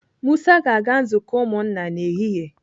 Musa ga-aga nzukọ ụmụnna n'ehihie